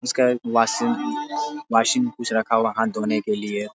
इसका एक washing washing में कुछ रखा हुआ है हाथ धोने के लिए।